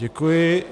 Děkuji.